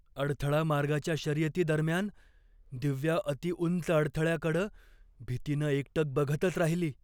अडथळा मार्गाच्या शर्यतीदरम्यान दिव्या अतिउंच अडथळ्याकडं भीतीनं एकटक बघतच राहिली.